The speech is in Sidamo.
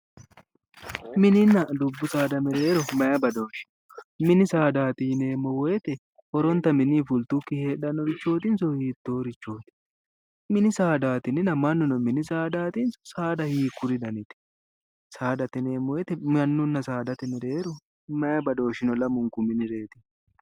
Mininna dubbu saada mereero mayi badooshi no, mini saadati yinneemmo woyte horontanni mininni fulitukkinni heedhanokirichotinso hiittorichoti, mini saada yininna mannuno mini saadatinso saada hiikkuriti, saadate yinneemmo woyte mannuna saadate maayi badooshshi no lamunku miniretinna.